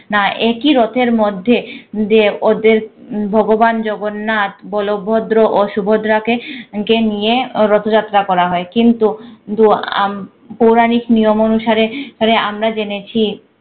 না একি রথের মধ্যে যে ওদের ভগবান জগন্নাথ বলভদ্র ও সুভদ্রা কে কে নিয়ে রথযাত্রা করা হয়। কিন্তু তু আম~ পৌরাণিক নিয়ম অনুসারে রে আমরা জেনেছি